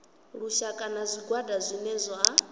lushaka na zwigwada zwine zwa